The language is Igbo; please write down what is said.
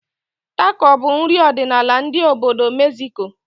Tako bụ nri ọdịnala ndị obodo Megziko